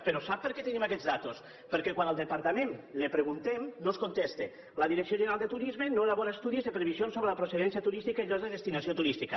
però sap per què tenim aquestes dades perquè quan al departament li ho preguntem no ens contesta la direcció general de turisme no elabora estudis de previsions sobre la procedència turística i llocs de destinació turística